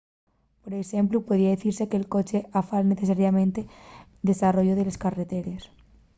por exemplu podría dicise que’l coche afala necesariamente’l desarrollu de les carreteres